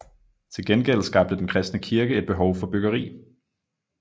Til gengæld skabte den kristne kirke et behov for byggeri